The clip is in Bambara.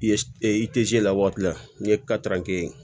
I ye i la waati n'i ye ye